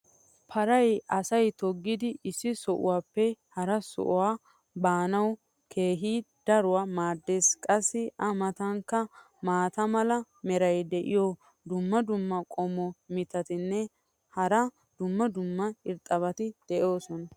paray asay toggidi issi sohuwaappe harasaa baanaassi keehi daruwa maadees. qassi a matankka maata mala meray diyo dumma dumma qommo mitattinne hara dumma dumma irxxabati de'oosona.